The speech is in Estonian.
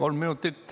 Kolm minutit.